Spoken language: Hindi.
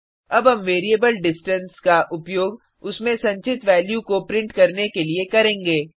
अब हम वेरिएबल डिस्टेंस का उपयोग उसमें संचित वैल्यू को प्रिंट करने के लिए करेंगे